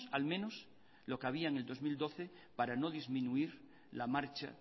al menos lo que había en el dos mil doce para no disminuir la marcha